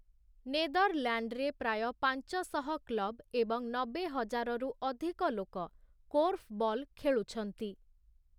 ନେଦରଲ୍ୟାଣ୍ଡରେ ପ୍ରାୟ ପାଞ୍ଚ ଶହ କ୍ଲବ ଏବଂ ନବେ ହଜାର ରୁ ଅଧିକ ଲୋକ କୋର୍ଫବଲ୍ ଖେଳୁଛନ୍ତି ।